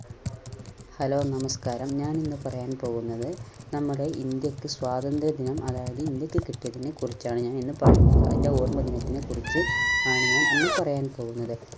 Hello നമസ്‍കാരം. ഞാൻ ഇന്ന് പറയാൻ പോകുന്നത് നമ്മുടെ ഇന്ത്യക്ക് സ്വാതന്ത്ര്യ ദിനം അതായത് ഇന്ത്യക്ക് കിട്ടിയതിനെക്കുറിച്ചാണ് ഞാൻ ഇന്ന് പറയാൻ പോകുന്നത്. അതിന്റെ ഓർമദിനത്തിനെ കുറിച്ച് ആണ് ഞാൻ ഇന്ന് പറയാൻ പോകുന്നത്.